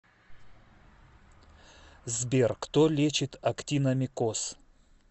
сбер кто лечит актиномикоз